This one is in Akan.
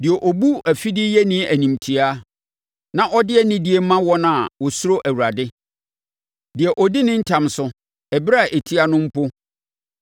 deɛ ɔbu afideyɛni animtiaa na ɔde anidie ma wɔn a wɔsuro Awurade, deɛ ɔdi ne ntam so ɛberɛ a ɛtia no mpo,